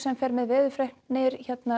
fer með veðurfregnir